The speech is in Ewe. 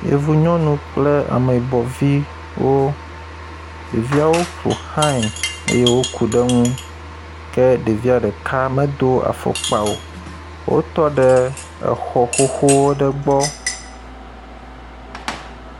yevu nyɔnu kple ameyibɔ viwo ɖeviawo ƒoxãe eye wo kuɖe ŋu ke ɖeviɔ ɖeka medó afɔkpa o wótɔ ɖe exɔ xoxo aɖe gbɔ